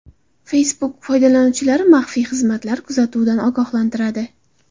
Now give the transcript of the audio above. Facebook foydalanuvchilarni maxfiy xizmatlar kuzatuvidan ogohlantiradi.